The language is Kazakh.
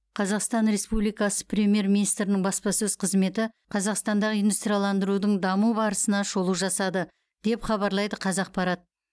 қазақстан республикасы премьер министрінің баспасөз қызметі қазақстандағы индустрияландырудың даму барысына шолу жасады деп хабарлайды қазақпарат